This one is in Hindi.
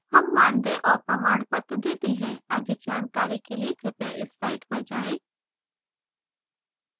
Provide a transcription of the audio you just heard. हम मानदेय और प्रमाणपत्र details हैं अधिक जानकारी के लिए कृपया इस site पर जाएँ